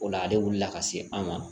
O la ale wulila ka se an ma